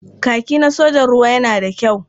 Kaki na sojan ruwa yana da kyau.